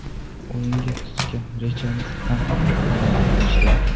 O‘yinga tuzgan rejamiz ham amalga oshdi.